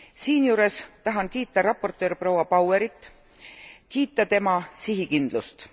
Siinjuures tahan kiita raportöör proua Bauerit, kiita tema sihikindlust.